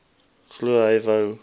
glo hy wou